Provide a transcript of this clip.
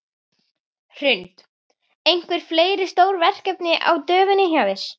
Hrund: Einhver fleiri stór verkefni á döfinni hjá þér?